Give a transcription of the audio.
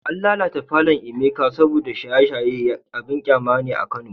An lalata palour Emeka Beer saboda shaye-shaye abin kyama ne a Kano